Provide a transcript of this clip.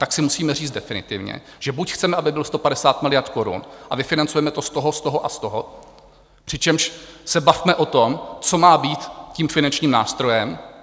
Tak si musíme říct definitivně, že buď chceme, aby byl 150 miliard korun, a vyfinancujeme to z toho, z toho a z toho, přičemž se bavme o tom, co má být tím finančním nástrojem.